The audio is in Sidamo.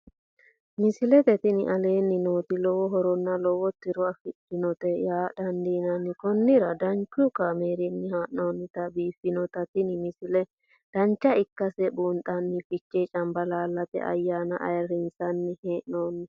misile tini aleenni nooti lowo horonna lowo tiro afidhinote yaa dandiinanni konnira danchu kaameerinni haa'noonnite biiffannote tini misile dancha ikkase buunxanni fichee cambalaallate ayyaana ayrissinanni he'noonni